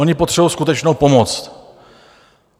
Oni potřebují skutečnou pomoc.